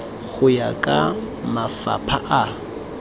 go ya ka mafapha a